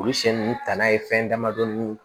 Olu siɲɛ nunnu ta n'a ye fɛn damadɔni